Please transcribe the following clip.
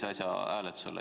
Ei saa!